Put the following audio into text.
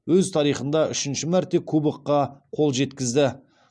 өз тарихында үшінші мәрте кубокқа қол жеткізді